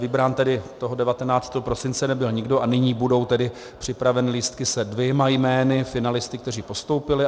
Vybrán tedy toho 19. prosince nebyl nikdo a nyní budou tedy připraveny lístky se dvěma jmény, finalisty, kteří postoupili.